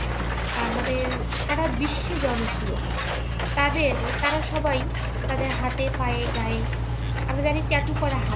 আমাদের সারা বিশ্বে জনপ্রিয় তাদের তারা সবাই তাদের হাতে পায়ে গায়ে আমরা জানি tattoo করা হারাম